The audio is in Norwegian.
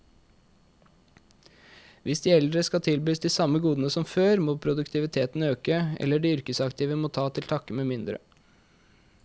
Hvis de eldre skal tilbys de samme godene som før, må produktiviteten øke, eller de yrkesaktive må ta til takke med mindre.